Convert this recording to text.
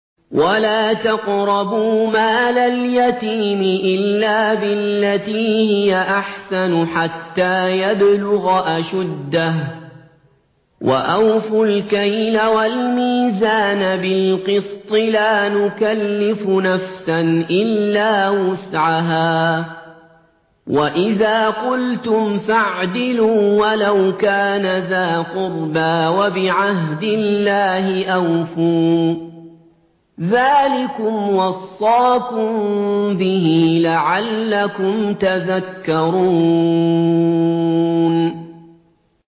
وَلَا تَقْرَبُوا مَالَ الْيَتِيمِ إِلَّا بِالَّتِي هِيَ أَحْسَنُ حَتَّىٰ يَبْلُغَ أَشُدَّهُ ۖ وَأَوْفُوا الْكَيْلَ وَالْمِيزَانَ بِالْقِسْطِ ۖ لَا نُكَلِّفُ نَفْسًا إِلَّا وُسْعَهَا ۖ وَإِذَا قُلْتُمْ فَاعْدِلُوا وَلَوْ كَانَ ذَا قُرْبَىٰ ۖ وَبِعَهْدِ اللَّهِ أَوْفُوا ۚ ذَٰلِكُمْ وَصَّاكُم بِهِ لَعَلَّكُمْ تَذَكَّرُونَ